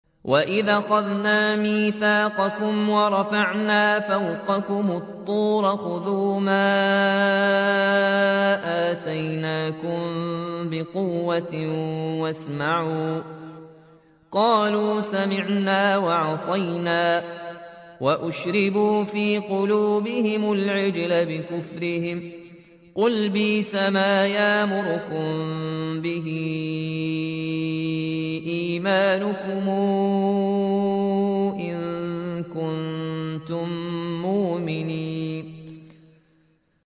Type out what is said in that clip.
وَإِذْ أَخَذْنَا مِيثَاقَكُمْ وَرَفَعْنَا فَوْقَكُمُ الطُّورَ خُذُوا مَا آتَيْنَاكُم بِقُوَّةٍ وَاسْمَعُوا ۖ قَالُوا سَمِعْنَا وَعَصَيْنَا وَأُشْرِبُوا فِي قُلُوبِهِمُ الْعِجْلَ بِكُفْرِهِمْ ۚ قُلْ بِئْسَمَا يَأْمُرُكُم بِهِ إِيمَانُكُمْ إِن كُنتُم مُّؤْمِنِينَ